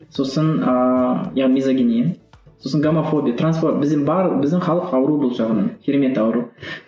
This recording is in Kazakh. сосын сосын гомофобия бізде біздің халық ауру бұл жағынан керемет ауру